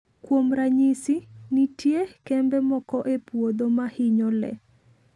Kuom ranyisi, nitie kembe moko e puodho ma hinyo le.